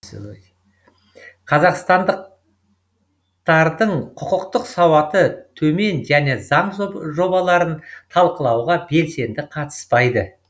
қазақстандықтардың құқықтық сауаты төмен және заң жобаларын талқылауға белсенді қатыспайды